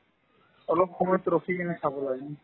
অলপ সময় ৰখি পিনে খাব লাগে